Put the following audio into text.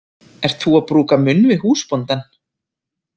Ert þú að brúka munn við húsbóndann?